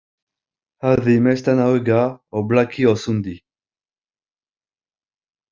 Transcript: Hafði mestan áhuga á blaki og sundi.